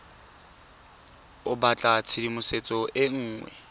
o batla tshedimosetso e nngwe